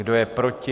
Kdo je proti?